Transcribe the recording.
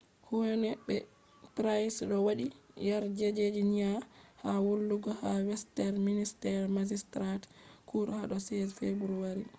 huhne be pryce do wadi yarjejeniya ha hollugo ha westminster magistrates court hado 16 february